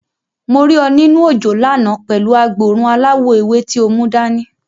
Mo rí ọ nínú òjò lánàá pẹ̀lú agboòrùn aláwọ̀ ewé tí o mú dani.